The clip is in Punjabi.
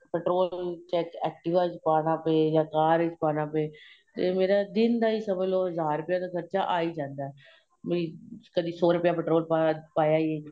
petrol check activa ਵਿੱਚ ਪਾਣਾ ਪਹੇਗਾ ਕਾਰ ਵਿੱਚ ਪਾਣਾ ਪਹੇਗਾ ਤੇ ਮੇਰਾ ਦਿਨ ਦਾ ਹੀ ਸਮਝ ਲਵੋ ਹਜ਼ਾਰ ਰੁਪਏ ਦਾ ਖਰਚਾ ਆਂ ਹੀ ਜਾਂਦਾ ਵੀ ਕਦੀਂ ਸ਼ੋ ਰੁਪਏ ਦਾ petrol ਪਾਹ ਪਾਇਆ